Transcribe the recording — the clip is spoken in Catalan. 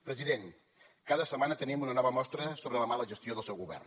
president cada setmana tenim una nova mostra sobre la mala gestió del seu govern